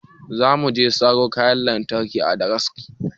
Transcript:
Za mu je mu saro kayan lantarki a sadaraki